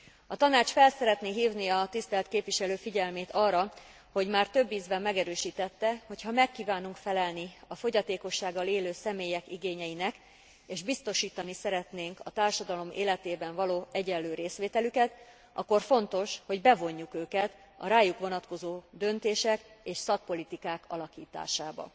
A Tanács szeretné felhívni a tisztelt képviselő figyelmét arra, hogy már több ízben megerősítette, hogy ha meg kívánunk felelni a fogyatékossággal élő személyek igényeinek, és biztosítani szeretnénk a társadalom életében való egyenlő részvételüket, akkor fontos, hogy bevonjuk őket a rájuk vonatkozó döntések és szakpolitikák alakításába.